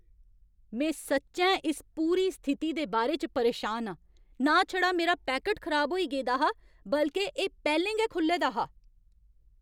में सच्चैं इस पूरी स्थिति दे बारे च परेशान आं। ना छड़ा मेरा पैकट खराब होई गेदा हा, बल्के एह् पैह्लें गै खु'ल्ले दा हा!